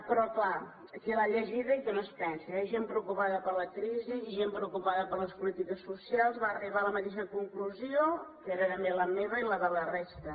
però clar qui l’ha llegida i que no es pensi hi ha gent preocupada per la crisi i gent preocupada per les polítiques socials va arribar a la mateixa conclusió que era també la meva i la de la resta